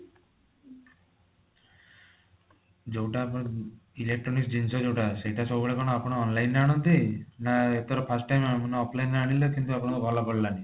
ଜୋଊଟା ଆପଣ electronic ଜିନିଷ ଯୋଊଟା ଅଛି ସେଇଟା ଆପଣ କଣ ସବୁବେଳେ online ରୁ ଆଣନ୍ତି ନା ଏଥର first time offline ରେ ଆଣିଲେ କିନ୍ତୁ ଆପଣଙ୍କର ଭଲ ପଡିଲାନି